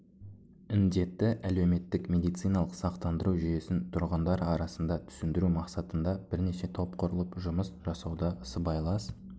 індетті әлеуметтік медициналық сақтандыру жүйесін тұрғындар арасында түсіндіру мақсатында бірнеше топ құрылып жұмыс жасауда сыбайлас